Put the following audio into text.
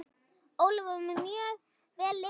Ólafur var mjög vel lesinn.